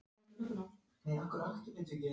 Það er í senn ýktara og mýkra.